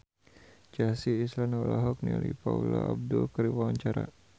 Chelsea Islan olohok ningali Paula Abdul keur diwawancara